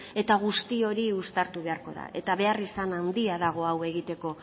eta guzti hori uztartu beharko da eta beharrizan handia dago hau egiteko